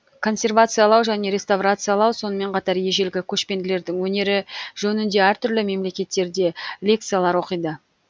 консервациялау және реставрациялау сонымен қатар ежелгі көшпенділердің өнері жөнінде әртүрлі мемлекеттерде лекциялар оқиды